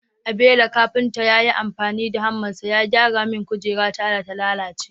Abelo kafinta ya yi amfani da hammarsa ya gyara mini kujerata da ta lalace